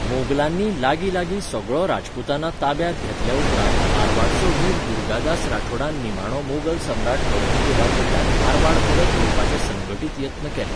मोगलांनी लागींलागीं सगळो राजपूताना ताब्यांत घेतल्या उपरांत मारवाडचो वीर दुर्गादास राठोडान निमाणो मोगल सम्राट औरंगजेबा कडल्यान मारवाड परत घेवपाचे संघटीत यत्न केले.